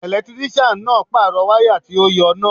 Ẹlẹtírísíàn náà pàrọ̀ wáyà tó ti yọ́ náà